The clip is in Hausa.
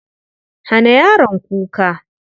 Hana yaron kuka.